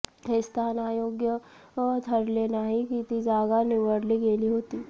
हे स्थान अयोग्य ठरले नाही की ती जागा निवडली गेली होती